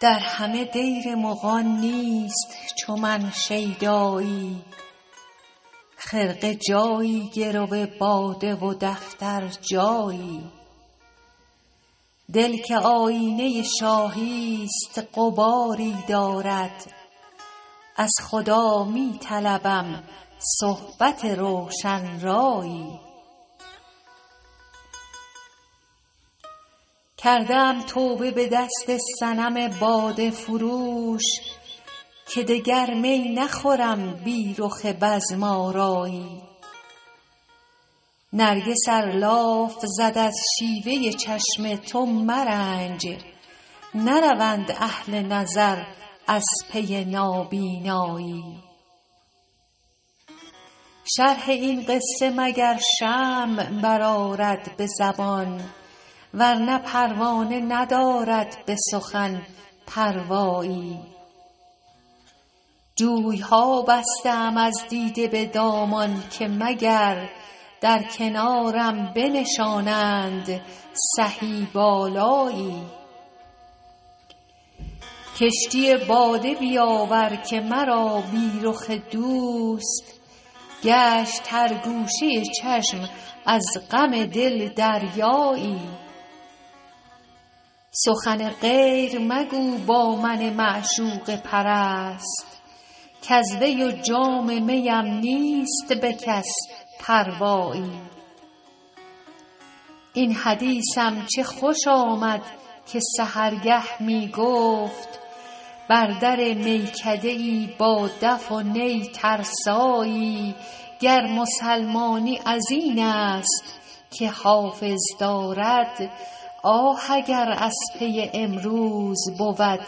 در همه دیر مغان نیست چو من شیدایی خرقه جایی گرو باده و دفتر جایی دل که آیینه شاهی ست غباری دارد از خدا می طلبم صحبت روشن رایی کرده ام توبه به دست صنم باده فروش که دگر می نخورم بی رخ بزم آرایی نرگس ار لاف زد از شیوه چشم تو مرنج نروند اهل نظر از پی نابینایی شرح این قصه مگر شمع برآرد به زبان ورنه پروانه ندارد به سخن پروایی جوی ها بسته ام از دیده به دامان که مگر در کنارم بنشانند سهی بالایی کشتی باده بیاور که مرا بی رخ دوست گشت هر گوشه چشم از غم دل دریایی سخن غیر مگو با من معشوقه پرست کز وی و جام می ام نیست به کس پروایی این حدیثم چه خوش آمد که سحرگه می گفت بر در میکده ای با دف و نی ترسایی گر مسلمانی از این است که حافظ دارد آه اگر از پی امروز بود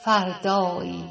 فردایی